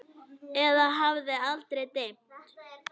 Eða hafði aldrei dimmt?